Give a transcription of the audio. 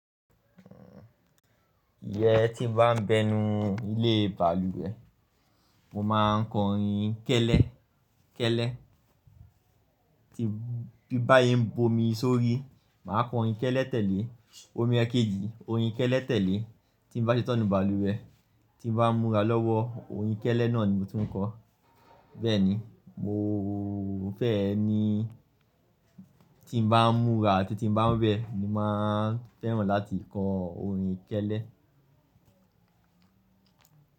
Ìyẹn tí n bá ń bẹnu ilé balùwẹ̀, mo máa ń korin kẹ́lẹ́, kẹ́lẹ́. Bí n bá ye ń bomi sórí, màá korin kẹ́lẹ́ tẹ́lẹ̀. Omi ẹkẹjì, orin kẹ́lẹ́ tẹ́lẹ̀ tí n bá ṣetán nu balùwẹ̀, tí n bá n múra lọ́wọ́, orin kẹ́lẹ́ náà ni mo tun ń kọ. Bẹ́ẹ̀ ni, mo fẹ́ ẹ ni tí n bá ń múra àti tí n bá ń wẹ ni máa ń fẹ́ràn láti kọ orin kẹ́lẹ́